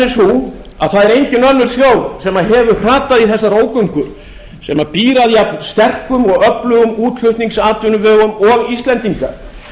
sú að það er engin önnur þjóð sem hefur hrapað í þessa ógöngur sem býr að jafn sterkum og öflugum útflutningsatvinnuvegum og íslendingar